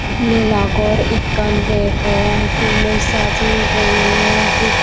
mela ghor ekkan degong pulloi sajeye gorine dup.